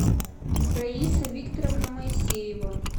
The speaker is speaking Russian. раиса викторовна моисеева